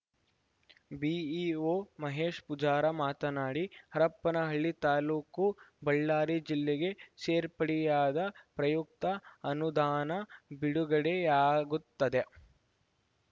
BEO Mahesha Pujar ಮಾತನಾಡಿ ಹರಪನಹಳ್ಳಿ ತಾಲೂಕು ಬಳ್ಳಾರಿ ಜಿಲ್ಲೆಗೆ ಸೇರ್ಪಡೆಯಾದ ಪ್ರಯುಕ್ತ ಅನುದಾನ ಬಿಡುಗಡೆಯಾಗುತ್ತದೆ